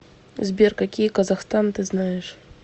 сбер какие казахстан ты знаешь